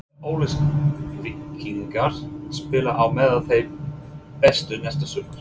Munu Ólafsvíkingar spila á meðal þeirra bestu næsta sumar?